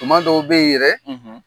Tuma dɔw be yen yɛrɛ